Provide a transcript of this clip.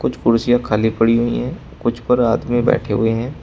कुछ कुंडसियां खाली पड़ी हुई हैं कुछ पर आदमी बैठे हुए हैं।